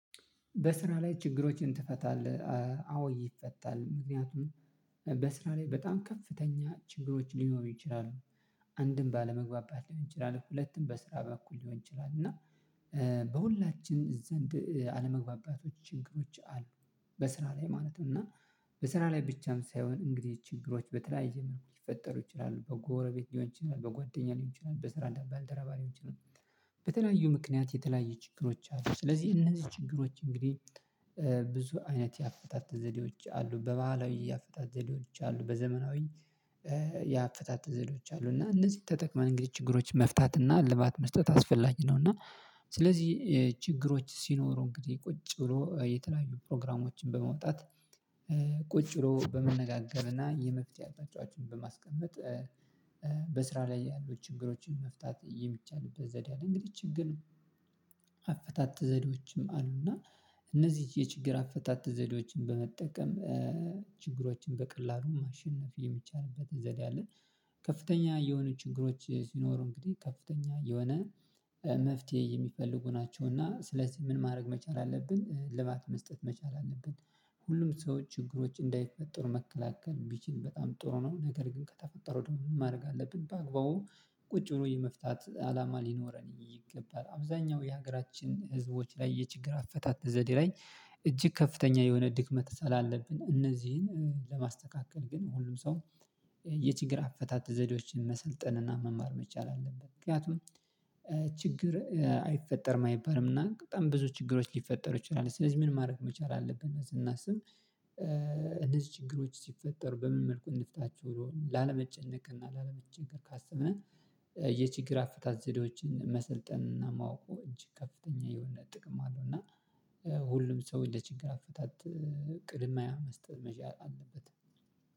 በስራ ላይ ችግሮችን ትፈታለህ? አዎ ይፈታል ምክንያቱም በስራ ላይ በጣም ከፍተኛ ችግሮች ሊኖሩ ይችላሉ አንድም ባለመግባባት ሊሆን ይችላል እኮ ሁለቱም በስራ በኩል ሊሆን ይችላል እና በሁላችን ዘንድ አለመግባባቶች ችግሮች አሉ በስራ ላይ ማለት ነው እና በስራ ላይ ብቻም ሳይሆን እንግዲህ ችግሮች በተለያየ መሆን ይፈጠሩ ይችላሉ በጎረቤት ሊሆን ይችላል በጓደኛ ሊሆን ይችላል በስራ እንዳልባ አልተረባሪም በተለያዩ ምክንያት የተለያየ ችግሮች አሉ ስለዚህ እነዚህ ችግሮች እንግዲህ ብዙ አይነት ያቀጣጥል ዘዴዎች አሉ በባህላዊ ያፈታተ ዘዴዎች አሉ በዘመናዊ ዘዴዎች አሉ እና እነዚህ ተጠቅመን እንግዲህ ችግሮች መፍታት እና ልባት መስጠት አስፈላጊ ነው እና ስለዚህ ችግሮች ሲኖሩ እንግዲህ ቁጭ ብሎ የተለያዩ ፕሮግራሞችን በመውጣት ቁጭ ብሎ በመነጋገርና የመፍትሄ አቅጣጫዎችን በማስቀመጥ ላይ ያሉ ችግሮችን መፍታት የሚቻልበት ዘዴ እንግዲህ ችግር ነው አፈታተ ዘዴዎችም አሉና እነዚህ የችግር አፈታት ዘዴዎችን በመጠቀም ችግሮችን በቀላሉ ማሸነፍ የሚቻልበት ዘዴ አለን ከፍተኛ የሆነ ችግሮች ሲኖሩ እንግዲህ ከፍተኛ የሆነ መፍትሄ የሚፈልጉ ናቸው እና ስለዚህ ምን ማድረግ መቻል አለብን እልባት መስጠት መቻል አለብን ሁሉም ሰዎች ችግሮች እንዳይፈጠሩ መከላከል ቢችል በጣም ጥሩ ነው ነገር ግን ከተፈጠረ ደግሞ ምን ማድረግ አለብን በአግባቡ ቁጭ ብሎ የመፍታት አላማ ሊኖረን ይገባል አብዛኛው የሀገራችን ህዝቦች ላይ የችግር አፈታት ዘዴ ላይ እጅግ ከፍተኛ የሆነ ድክመት ሳላለብን አለብን እነዚህን ለማስተካከል ግን ሁሉም ሰው የችግር አፈታት ዘዴዎችን መሰልጠን እና መማር መቻል አለብን ምክንያቱም ችግር አይፈጠርም አይባልም እና በጣም ብዙ ችግሮች ሊፈጠሩ ይችላሉ ስለዚህ ምን ማድረግ መቻል አለብን ስናስብ እነዚህ ችግሮች ሲፈጠሩ በምን መልኩ እንፍታቸው ላለመጨነቅ እና ላለመቸገር ካሰብን የችግር አፈታት ዘዴዎችን መሰልጠን ማወቁ እንጂ ከፍተኛ የሆነ ጥቅም አለው እና ሁሉም ሰው ችግር አፈታት ቅድሚያ መስጠት መቻል አለበት